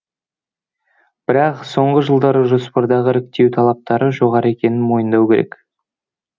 бірақ соңғы жылдары жоспардағы іріктеу талаптары жоғары екенін мойындау керек